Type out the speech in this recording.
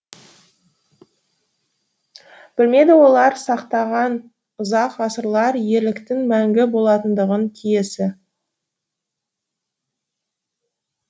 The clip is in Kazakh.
білмеді олар сақтаған ұзақ ғасырлар ерліктің мәңгі болатындығын киесі